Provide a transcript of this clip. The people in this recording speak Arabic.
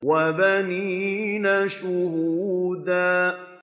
وَبَنِينَ شُهُودًا